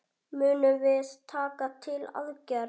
Munum við taka til aðgerða?